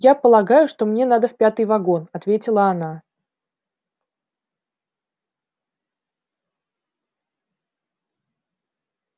я полагаю что мне надо в пятый вагон ответила она